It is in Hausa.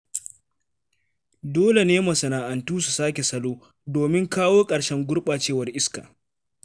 Dole ne masana'antu su sake salo, domin kawo ƙarshen gurɓacewar iska.